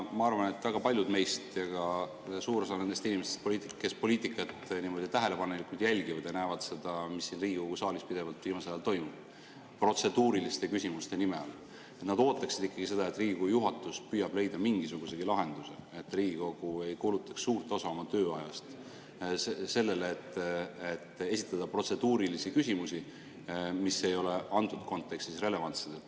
Ma arvan, et väga paljud meist ja ka suur osa nendest inimestest, poliitikutest, kes poliitikat tähelepanelikult jälgivad ja näevad seda, mis siin Riigikogu saalis pidevalt viimasel ajal on toimunud protseduuriliste küsimuste nime all, ootaksid ikkagi seda, et Riigikogu juhatus püüaks leida mingisugusegi lahenduse, et Riigikogu ei kulutaks suurt osa oma tööajast sellele, et esitada protseduurilisi küsimusi, mis ei ole antud kontekstis relevantsed.